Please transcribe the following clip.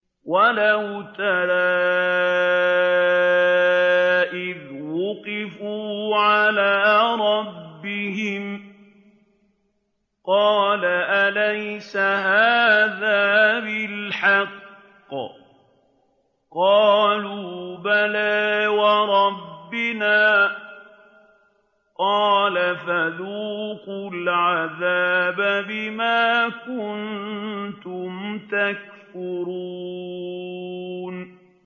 وَلَوْ تَرَىٰ إِذْ وُقِفُوا عَلَىٰ رَبِّهِمْ ۚ قَالَ أَلَيْسَ هَٰذَا بِالْحَقِّ ۚ قَالُوا بَلَىٰ وَرَبِّنَا ۚ قَالَ فَذُوقُوا الْعَذَابَ بِمَا كُنتُمْ تَكْفُرُونَ